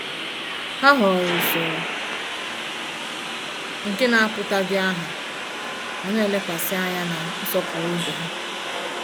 Ha họọrọ usoro nke na-apụtaghị aha, ma na-elekwasị anya na nsọpụrụ ibe ha.